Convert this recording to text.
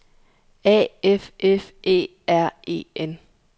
A F F Æ R E N